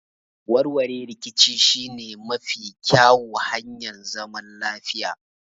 Warwarewar riƙici shi ne mafi ƙƴau hanyar zaman lafiya.